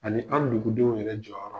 Ani an dugudenw yɛrɛ jɔyɔrɔ.